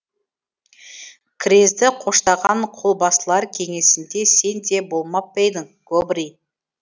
крезді қоштаған қолбасылар кеңесінде сен де болмап па едің гобрий